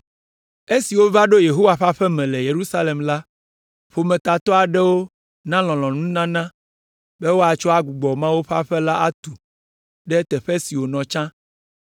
Esi wova ɖo Yehowa ƒe aƒe me le Yerusalem la, ƒometatɔ aɖewo na lɔlɔ̃nununana be woatsɔ agbugbɔ Mawu ƒe aƒe la atu ɖe teƒe si wònɔ tsã.